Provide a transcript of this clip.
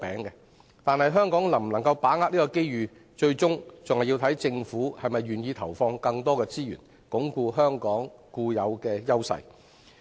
然而，香港能否把握這個機遇，最終視乎政府是否願意投放更多資源，鞏固香港固有的優勢。